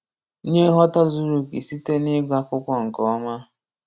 Nyee nghọta zuru okè site n'ịgụ akwụkwọ nke ọma.